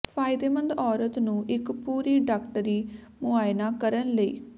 ਫਾਇਦੇਮੰਦ ਔਰਤ ਨੂੰ ਇੱਕ ਪੂਰੀ ਡਾਕਟਰੀ ਮੁਆਇਨਾ ਕਰਨ ਲਈ